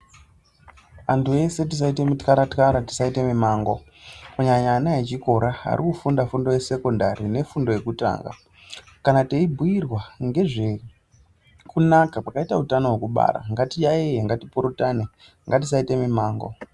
Antu ese tisaite mityara tyara tisaite mimango kunyanya ana echikora arikufunda fundo yesekondari nefundo yekutanga, kana teibhuyirwa ngezvekunaka kwakaita utano wekubaara ngatiyaye ngatipurutane ngatisaita mumango.